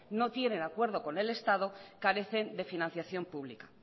no tiene el acuerdo con el estado carecen de financiación pública